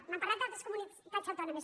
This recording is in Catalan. m’han parlat d’altres comunitats au·tònomes